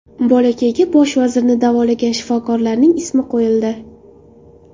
Bolakayga bosh vazirni davolagan shifokorlarning ismi qo‘yildi.